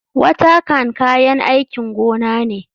Watercan kayan aikin gona ne.